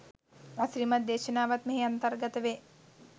අසිරිමත් දේශනාවන් මෙහි අන්තර්ගත වේ.